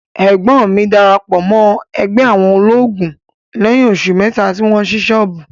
Ẹ̀gbọ́n mi darapọ̀ mọ́ ẹgbẹ́ àwọn olóògùn lẹ́yìn oṣù mẹ́ta tí wọ́n ṣí ṣọ́ọ̀bù.